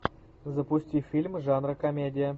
запусти фильм жанра комедия